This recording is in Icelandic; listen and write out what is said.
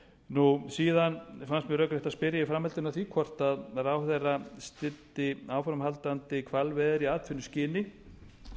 og síðan fannst mér rökrétt að spyrja í framhaldinu af því hvort ráðherra styddi áframhaldandi hvalveiðar í atvinnuskyni